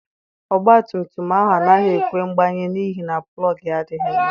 Ọgba tum tum ahụ anaghị ekwe mgbanye n'ihi na plọg ya adịghị mma.